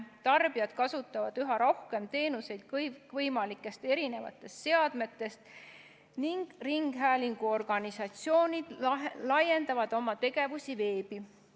Tarbijad kasutavad üha rohkem teenuseid kõikvõimalikest seadmetest ning ringhäälinguorganisatsioonid laiendavad oma tegevust veebi.